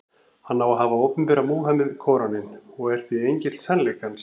Hann á að hafa opinberað Múhameð Kóraninn, og er því engill sannleikans.